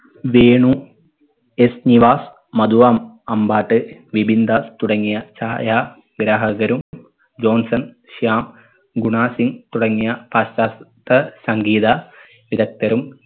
Venu S Nivas Madhu അം അമ്പാട്ട് വിബിന്ദർ തുടങ്ങിയ ചായ ഗ്രാഹകരും ജോൺസൻ ശ്യാം ഗുണ സിംഗ് തുടങ്ങിയ പാശ്ചാത്ത സംഗീത വിധക്തരും